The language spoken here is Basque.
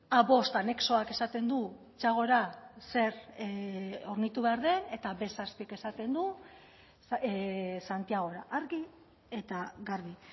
a bost anexoak esaten du txagora zer hornitu behar den eta be zazpik esaten du santiagora argi eta garbi